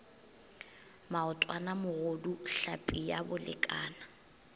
maotwana mogodu tlhapi ya bolekana